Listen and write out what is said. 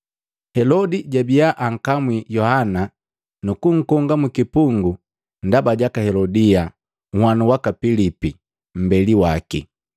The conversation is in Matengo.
Helodi jabiya ankamwi Yohana nukunkonga mukipungu ndaba jaka Helodia, nhwanu waka Pilipi, mbeli waki.